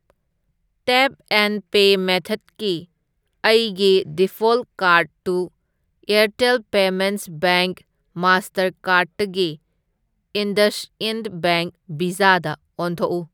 Tap and pay ꯃꯦꯊ꯭ꯗꯀꯤ ꯑꯩꯒꯤ default ꯀꯥꯔꯗꯇꯨ ꯑꯦꯔꯇꯦꯜ ꯄꯦꯃꯦꯟꯠꯁ ꯕꯦꯡꯛ ꯃꯥꯁꯇꯔꯀꯥꯔ꯭ꯗꯇꯒꯤ ꯏꯟꯗꯁꯏꯟꯗ ꯕꯦꯡꯛ ꯚꯤꯖꯥꯗ ꯑꯣꯟꯊꯣꯛꯎ꯫